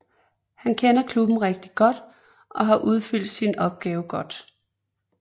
Han kender klubben rigtigt godt og har udfyldt sin opgave godt